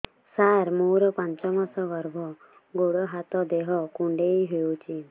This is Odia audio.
ସାର ମୋର ପାଞ୍ଚ ମାସ ଗର୍ଭ ଗୋଡ ହାତ ଦେହ କୁଣ୍ଡେଇ ହେଉଛି